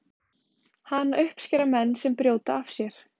Hana uppskera menn sem brjóta af sér.